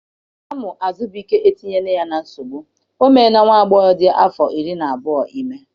Amụ Azụbike etinyela ya na nsogbu. O meela nwa agbọghọ dị afọ iri na abụọ ime.